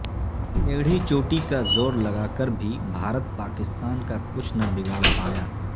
ایڑھی چوٹی کا زور لگا کر بھی بھارت پاکستان کا کچھ نہ بگاڑ پایا